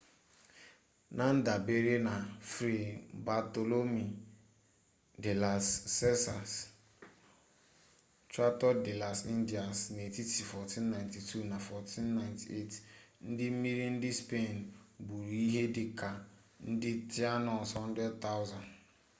na ndabere na fray bartolomé de las casas tratado de las indias n’etiti 1492 na 1498 ndị mmeri ndị spen gburu ihe dị ka ndị taínos 100,000